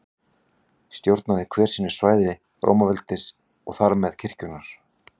Stjórnaði hver sínu svæði Rómaveldis og þar með kirkjunnar.